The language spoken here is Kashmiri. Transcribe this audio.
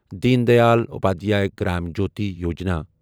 دیٖن دیال اپادھیایا گرام جیوتی یوجنا